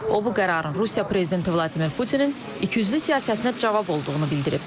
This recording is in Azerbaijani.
O bu qərarın Rusiya prezidenti Vladimir Putinin ikiyüzlü siyasətinə cavab olduğunu bildirib.